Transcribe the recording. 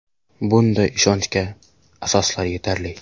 Bunday ishonchga asoslar yetarli.